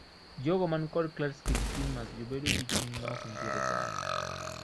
Jogo manikod Klatskin tumors jobedo gi chuny maok nitiere kare.